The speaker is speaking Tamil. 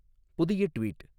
புதிய ட்வீட்